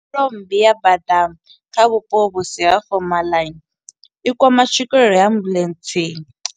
Nyimelo mmbi ya bada kha vhupo vhusi ha fomaḽa, i kwama tswikelelo ya ambuḽentse,